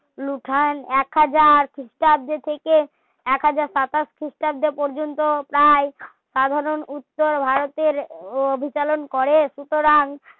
এক হাজার খ্রিস্টাব্দ থাকে একহাজার সাতাশ খ্রিস্টাব্দ পর্যন্ত প্রায় সাধারণ উচ্ছ ভারতের বিতরণ করে সুতরাং